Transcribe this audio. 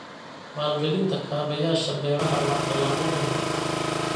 Maalgelinta kaabayaasha beeraha waa tallaabo muhiim ah.